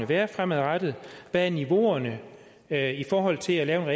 være fremadrettet og hvad niveauerne er i forhold til at lave en